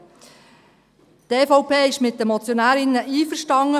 Die EVP ist mit den Motionärinnen einverstanden: